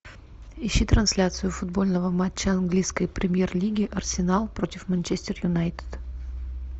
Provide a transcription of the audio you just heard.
ищи трансляцию футбольного матча английской премьер лиги арсенал против манчестер юнайтед